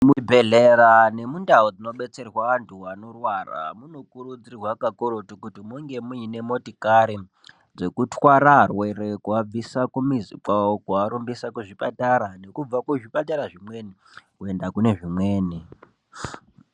Muzvibhedhlera nemundawo dzinodetserwa antu vanorwara ,munokurudzirwa kakurutu kuti munge muyine motikare dzekuthwara arwere kuvabvisa kumizi kwavo kuvarumbisa kuzvipatara nekubva kuzvipatara zvimweni kuyenda kunezvimweni.